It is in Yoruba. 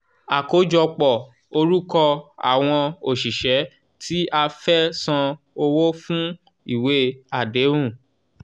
àkójọpọ̀ orúkọ àwọn òṣìṣẹ́ tí a fẹ́ san owó fún ìwé àdéhùn.